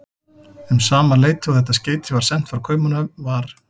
Um sama leyti og þetta skeyti var sent frá Kaupmannahöfn, var